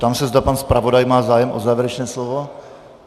Ptám se, zda pan zpravodaj má zájem o závěrečné slovo.